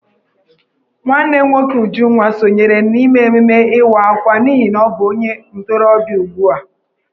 Nwanne nwoke Ujunwa sonyere n'ememme Ịwa Akwa n'ihi na ọ bụ onye ntorobịa ugbu a.